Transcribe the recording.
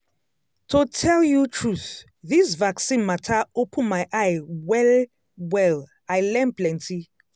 to tell you truth this vaccine matter open my eye well-well i learn plenty.